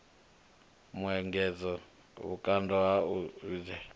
muengedzo vhukando ha u thivhela